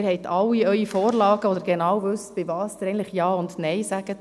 Sie haben alle Ihre Vorlagen und wissen genau, zu welchen Sie Ja oder Nein sagen.